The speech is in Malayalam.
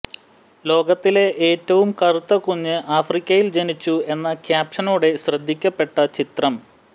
ലോകത്തെ ഏറ്റവും കറുത്ത കുഞ്ഞ് ആഫ്രിക്കയിൽ ജനിച്ചു എന്ന ക്യാപ്ഷനോടെ ശ്രദ്ധിക്കപ്പെട്ട ചിത്രം